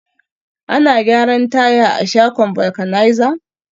Ana gyaran taya a shagon vulcanizer